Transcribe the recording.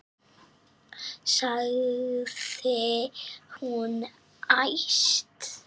sagði hún æst.